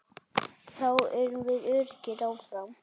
Þá erum við öruggir áfram.